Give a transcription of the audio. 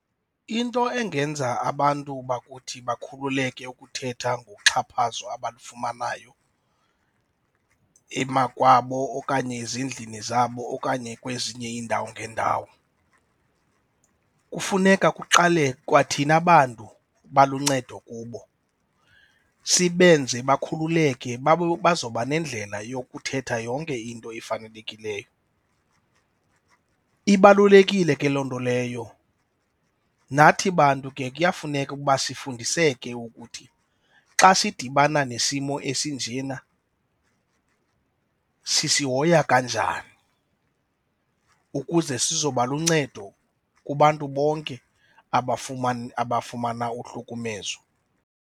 Into engenza abantu bakuthi bekhululeke ukuthetha ngoxhaphazo abalifumanayo emakwabo okanye ezindlini zabo okanye kwezinye iindawo ngeendawo, kufuneka kuqale kwathina bantu baluncedo kubo sibenze bakhululeke bazawuba nendlela yokuthetha yonke into efanelekileyo. Ibalulekile ke loo nto leyo. Nathi bantu ke kuyafuneka ukuba sifundiseke ukuthi xa sidibana nesimo esinjena sisihoya kanjani ukuze sizoba luncedo kubantu bonke abafumana uhlukumezo.